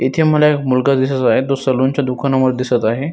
इथे मला एक मुलगा दिसत आहे तो सलुन च्या दुकाना मध्ये दिसत आहे.